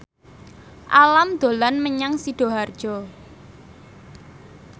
Alam dolan menyang Sidoarjo